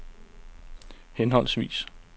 henholdsvis